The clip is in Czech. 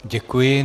Děkuji.